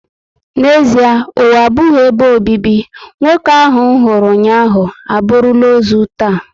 N'ezịe ụwa abụghị ebe obibi, nwoke ahụ nhuru ụnyaahụ, aburula ozu taa